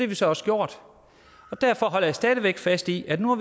vi så også gjort derfor holder jeg stadig væk fast i at nu